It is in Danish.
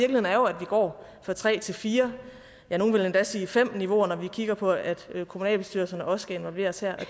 går fra tre til fire ja nogle vil endda sige fem niveauer når vi kigger på at kommunalbestyrelserne også skal involveres her